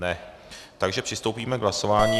Ne, takže přistoupíme k hlasování.